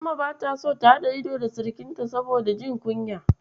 Umma bata so su haɗa ido da sirikinta saboda jin kunya.